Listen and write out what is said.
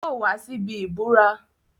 Yóò wá síbí ìburá.